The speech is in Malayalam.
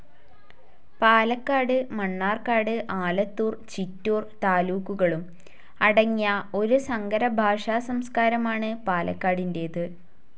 പാലക്കാട്‌, മണ്ണാർക്കാട്‌, ആലത്തൂർ, ചിറ്റൂർ, താലൂക്കുകളും അടങ്ങിയ ഒരു സങ്കര ഭാഷാ സംസ്കാരമാണ്‌ പാലക്കാടിന്റേത്‌.